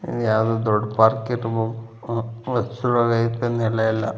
ಯಾವುದೋ ದೊಡ್ ಪಾರ್ಕ್ ಇರ್ಬೋಕು. ನೆಲ ಎಲ್ಲಾ --